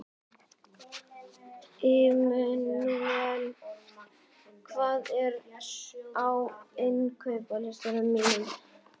Immanúel, hvað er á innkaupalistanum mínum?